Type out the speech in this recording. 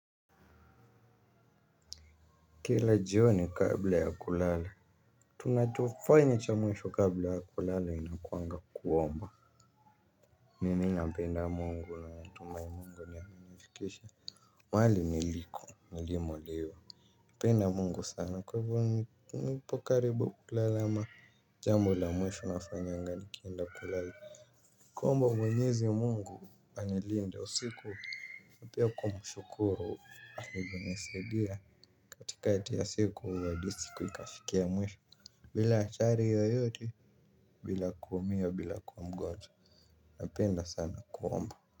Kila jioni kabla ya kulala tunachofanya cha mwisho kabla ya kulala inakuanga kuomba. Mimi nampenda Mungu na natumai Mungu ndiye amenifikisha. Wali niliko nilimo leo. Penda Mungu sana kwa hivyo nipo karibu kulala ama jambo la mwisho nafanyanga nikienda kulala. Kuomba mwenyezi Mungu anilinde usiku. Na pia kumshukuru alivyonisaidia katikati ya siku halisi kuikashikia mwisho. Bila achari yoyote bila kuumia bila kuwa mgonjwa. Napenda sana kuomba.